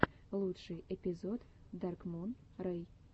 лучший эпизод даркмун рэй